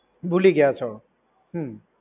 ભૂલી ગયા છો. હમ્મ.